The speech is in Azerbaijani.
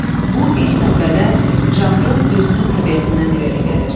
Bu, ilk növbədə, janrın özünün təbiətindən irəli gəlir.